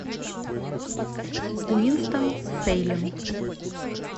уинстон сейлем